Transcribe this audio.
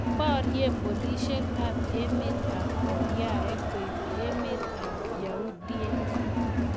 Porie polishek ab emet ab oriaek koib emet ab yahudhiek.